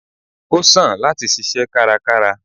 o sán latí sìsé kárákárá